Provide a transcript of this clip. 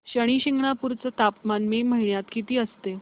शनी शिंगणापूर चं तापमान मे महिन्यात किती असतं